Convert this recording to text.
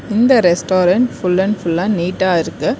இந்த restaurant full and ஃபுல்லா நீட்டா இருக்கு.